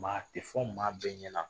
Maa tɛ fɔ maa bɛɛ ɲɛna